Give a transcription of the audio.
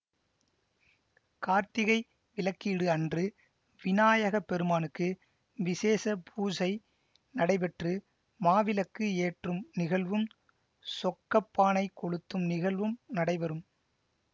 கார்த்திகை விளக்கீடு அன்று விநாயகப்பெருமானுக்கு விஷேச பூசை நடைபெற்று மாவிளக்கு ஏற்றும் நிகழ்வும் சொக்கப்பானை கொழுத்தும் நிகழ்வும் நடைபெறும்